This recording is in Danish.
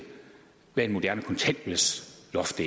hvad et moderne kontanthjælpsloft